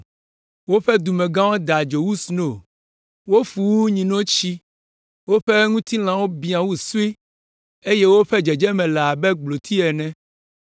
Woƒe dumegãwo da dzo wu sno, wofu wu nyinotsi, woƒe ŋutilã biã wu soe eye woƒe dzedzeme le abe gbloti ene.